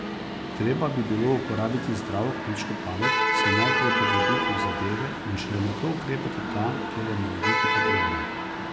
Treba bi bilo uporabiti zdravo kmečko pamet, se najprej poglobiti v zadeve in šele nato ukrepati tam, kjer je morebiti potrebno.